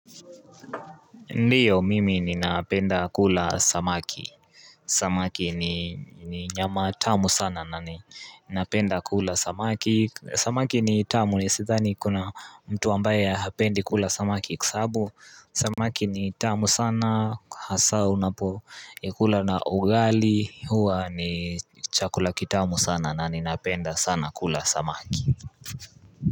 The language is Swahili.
Ndiyo mimi ninapenda kula samaki Samaki ni nyama tamu sana na ninapenda kula samaki Samaki ni tamu ni sithani kuna mtu ambaye hapendi kula samaki kwasababu Samaki ni tamu sana hasa unapo ikula na ugali huwa ni chakula kitamu sana na ninapenda sana kula samaki.